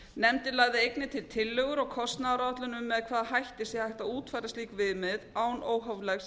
nefndin lagði einnig til tillögur og kostnaðaráætlun um með hvaða hætti sé hægt að útfæra slík viðmið án óhóflegs